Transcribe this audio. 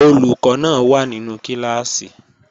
Olùkọ́ náà wà nínú kíláàsì